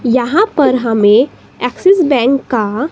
यहां पर हमे ऐक्सिस बैंक का--